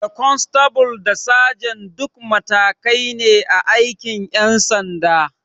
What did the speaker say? Da kwanstabul da sajan duk matakai ne a aikin ƴan sanda